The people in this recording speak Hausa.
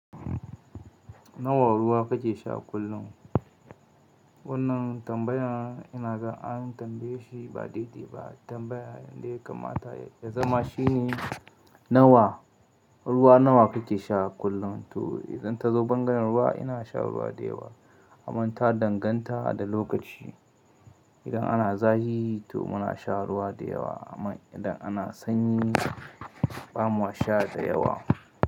Nawa ruwa kake sha kullum? Wannan tambayar ina gan an tambaye shi ba daidai ba. Tambayar yanda ya kamata ya zama shine nawa ruwa nawa kuke sha kullum? To idan ta zo bangaren ruwa ina sha ruwa da yawa amma ta danganta da lokaci. Idan ana zafi to muna sha ruwa da yawa amma idan ana sanyi. Sha da yawa.